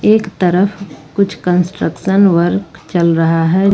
एक तरफ कुछ कंस्ट्रक्शन वर्क चल रहा है।